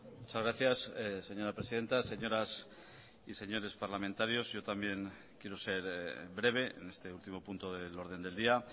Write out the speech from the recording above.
muchas gracias señora presidenta señoras y señores parlamentarios yo también quiero ser breve en este último punto del orden del día